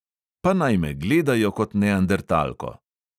Pa naj me gledajo kot neandertalko.